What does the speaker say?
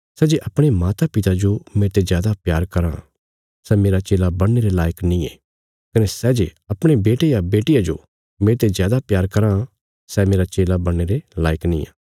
सै जे अपणे मातापिता जो मेरते जादा प्यार कराँ सै मेरा चेला बणने रे लायक नींये कने सै जे अपणे बेटे या बेटिया जो मेरते जादा प्यार कराँ सै मेरा चेला बणने रे लायक निआं